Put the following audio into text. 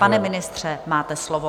Pane ministře, máte slovo.